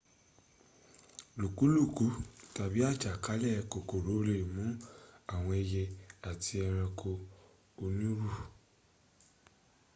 lùkúlùkú tàbí àjàkálẹ̀ kòkòrò lè mún àwọn ẹyẹ àti ẹranko onírun